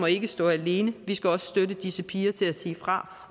ikke stå alene vi skal også støtte disse piger til at sige fra